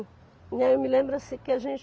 E aí eu me lembro assim que a gente...